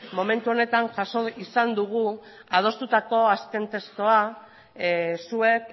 momentu honetan jaso izan dugu adostutako azken testua zuek